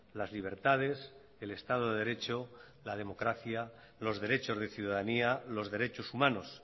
las libertades el estado de derecho la democracia los derechos de ciudadanía los derechos humanos